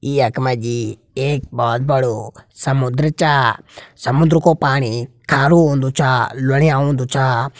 यक मजी एक बोहोत बड़ु समुंद्र चा। समुंद्र को पाणी खारु होंदू चा लुणियां होंदू चा।